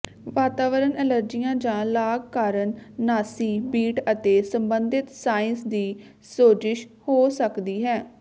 ਵਾਤਾਵਰਣ ਅਲਰਜੀਆਂ ਜਾਂ ਲਾਗ ਕਾਰਨ ਨਾਸੀ ਬੀਟ ਅਤੇ ਸਬੰਧਤ ਸਾਇਨਸ ਦੀ ਸੋਜਸ਼ ਹੋ ਸਕਦੀ ਹੈ